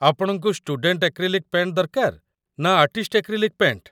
ଆପଣଙ୍କୁ student acrylic paint ଦରକାର ନା ଆର୍ଟିଷ୍ଟ ଏକ୍ରିଲିକ୍ ପେଣ୍ଟ୍?